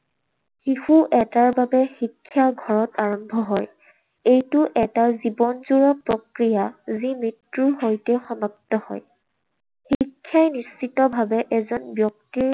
শিশু এটাৰ বাবে শিক্ষা ঘৰত আৰম্ভ হয়। এইটো এটা জীৱনজোৰা প্ৰক্ৰিয়া, যি মৃত্যুৰ সৈতে সমাপ্ত হয়। শিক্ষাই নিশ্চিতভাৱে এজন ব্যক্তিৰ